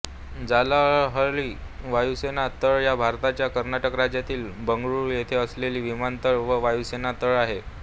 जालाहळ्ळी वायुसेना तळ हा भारताच्या कर्नाटक राज्यातील बंगळूर येथे असलेला विमानतळ व वायुसेना तळ आहे